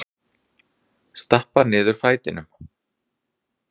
Stappa niður fætinum.